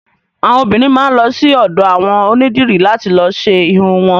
Àwọn obiìnrin máa lọ sí ọ̀dọ̀ àwọn onídìrí làti lọ ṣe irun wọn.